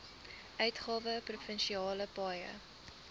uitgawe provinsiale paaie